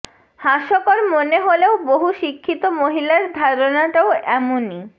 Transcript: হাস্যকর মনে হলেও বহু শিক্ষিত মহিলার ধারণাটাও এমনই